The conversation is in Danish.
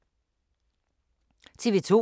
TV 2